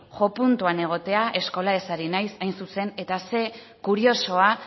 jo puntuan egotea skolaez ari naiz hain zuzen eta zer kuriosoa